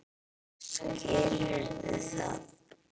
Skilurðu það?